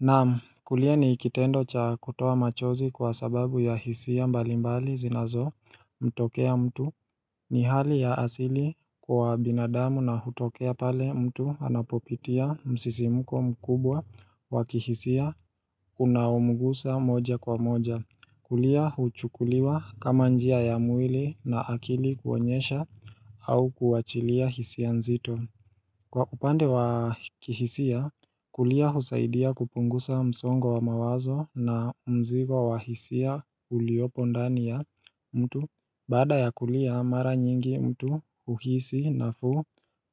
Naam kulia ni kitendo cha kutoa machozi kwa sababu ya hisia mbalimbali zinazomtokea mtu ni hali ya asili kwa binadamu na hutokea pale mtu anapopitia msisimuko mkubwa wa kihisia unaomgusa moja kwa moja kulia huchukuliwa kama njia ya mwili na akili kuonyesha au kuachilia hisia nzito Kwa upande wa kihisia, kulia husaidia kupunguza msongo wa mawazo na mzigo wa hisia uliopo ndani ya mtu Baada ya kulia, mara nyingi mtu uhisi nafuu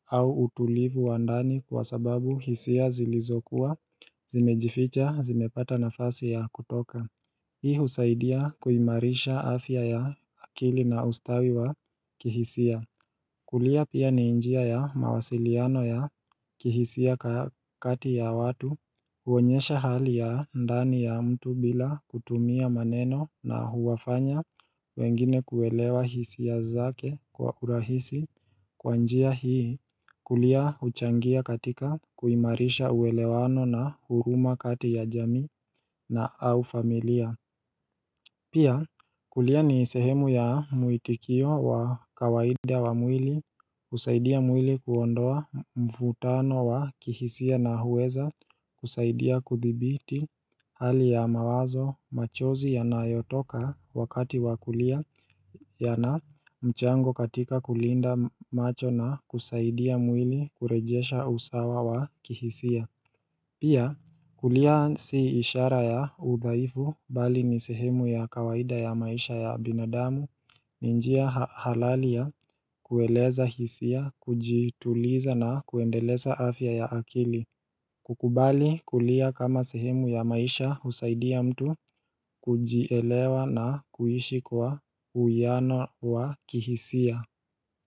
au utulivu wa ndani kwa sababu hisia zilizokuwa, zimejificha, zimepata nafasi ya kutoka Hii husaidia kuimarisha afya ya akili na ustawi wa kihisia kulia pia ni njia ya mawasiliano ya kihisia kati ya watu huonyesha hali ya ndani ya mtu bila kutumia maneno na huwafanya wengine kuelewa hisia zake kwa urahisi kwa njia hii kulia huchangia katika kuimarisha uwelewano na huruma kati ya jamii na au familia Pia kulia ni sehemu ya muitikio wa kawaida wa mwili kusaidia mwili kuondoa mvutano wa kihisia na huweza kusaidia kuthibiti hali ya mawazo machozi yanayotoka wakati wa kulia yana mchango katika kulinda macho na kusaidia mwili kurejesha usawa wa kihisia Pia kulia si ishara ya udhaifu bali ni sehemu ya kawaida ya maisha ya binadamu ni njia halali ya kueleza hisia, kujituliza na kuendeleza afya ya akili kukubali kulia kama sehemu ya maisha husaidia mtu kujielewa na kuishi kwa uwiano wa kihisia.